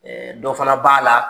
dɔ fana b'a la